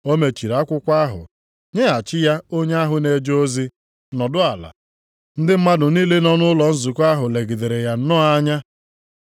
O mechiri akwụkwọ ahụ nyeghachi ya onye ahụ na-eje ozi, nọdụ ala. Ndị mmadụ niile nọ nʼụlọ nzukọ ahụ legidere ya nnọọ anya.